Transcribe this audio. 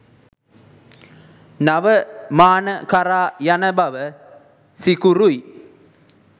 නව මාන කරා යන බව සිකුරුයි.